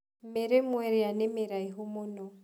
Mĩrĩmo ĩrĩa nĩ mĩraihu mũno.